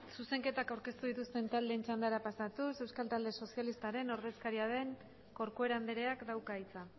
zuzenketak aurkeztu dituzten taldeen txandara pasatuz euskal talde sozialistaren ordezkaria den corcuera andreak dauka hitza